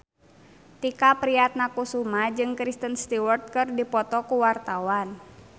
Tike Priatnakusuma jeung Kristen Stewart keur dipoto ku wartawan